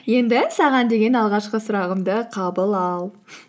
енді саған деген алғашқы сұрағымды қабыл ал